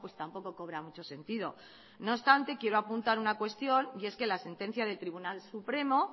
tampoco cobra mucho sentido no obstante quiero apuntar una cuestión y es que la sentencia del tribunal supremo